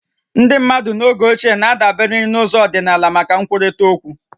Ndị mmadụ n'oge ochie na-adabere na ụzọ ọdịnala maka nkwurịta okwu